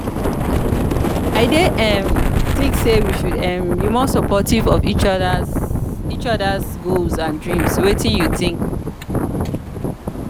i dey um think say we should um be more supportive of each oda's goals and dreams wetin you think?